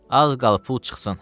Az qalıb pul çıxsın.